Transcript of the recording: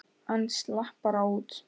Hann slapp bara út.